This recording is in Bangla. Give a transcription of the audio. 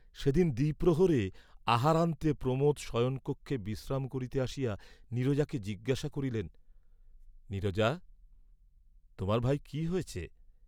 সেদিন দ্বিপ্রহরে আহারান্তে প্রমোদ শয়নকক্ষে বিশ্রাম করিতে আসিয়া নীরজাকে জিজ্ঞাসা করিলেন নীরজা তোমার ভাই কি হয়েছে?